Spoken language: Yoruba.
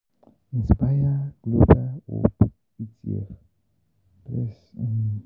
Inspireglobal hope etf bles um